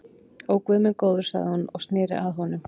Ó, guð minn góður sagði hún og sneri sér að honum.